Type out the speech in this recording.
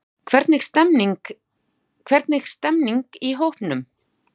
Hvernig stemmningin í hópnum?